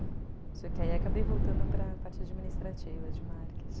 E... Só que aí eu acabei voltando para a parte administrativa, de marketing.